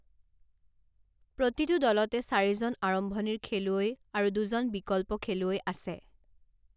প্ৰতিটো দলতে চাৰিজন আৰম্ভণিৰ খেলুৱৈ আৰু দুজন বিকল্প খেলুৱৈ আছে।